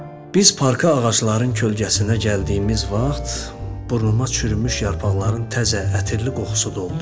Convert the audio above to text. Biz parka ağacların kölgəsinə gəldiyimiz vaxt burnuma çürümüş yarpaqların təzə, ətirli qoxusu doldu.